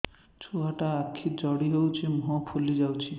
ଛୁଆଟା ଆଖି ଜଡ଼ି ଯାଉଛି ମୁହଁ ଫୁଲି ଯାଉଛି